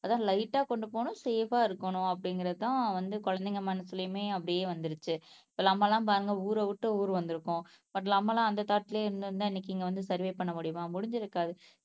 அதான் லைட் ஆஹ் கொண்டு போகனும் சேப்பா இருக்கணும் அப்படிங்கறதுதான் வந்து குழந்தைங்க மனசுலயுமே அப்படியே வந்துருச்சு. இப்ப நம்ம எல்லாம் பாருங்க ஊரை விட்டு ஊர் வந்திருக்கோம் பட் நம்ம எல்லாம் அந்த தாட்லேயே இருந்திருந்தா இன்னைக்கு இங்க வந்து சர்வே பண்ண முடியுமா முடிஞ்சிருக்காது.